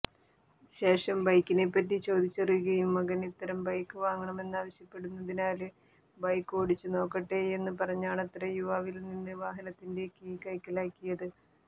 ശേഷം ബൈക്കിനെപ്പറ്റി ചോദിച്ചറിയുകയും മകന് ഇത്തരം ബൈക്ക് വാങ്ങണമെന്നാവശ്യപ്പെടുന്നതിനാല് ബൈക്ക് ഓടിച്ചുനോക്കട്ടെയെന്ന് പറഞ്ഞാണത്രെ യുവാവില്നിന്ന് വാഹനത്തിന്റെ കീ കൈക്കലാക്കിയത്